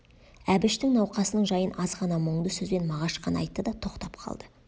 әбіштің науқасының жайын азғана мұңды сөзбен мағаш қана айтты да тоқтап қалды